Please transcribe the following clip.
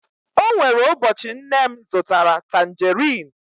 o nwere ụbọchị nne m zụtara tanjeriin